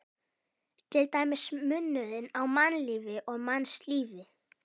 Til dæmis munurinn á mannlífi og mannslífi.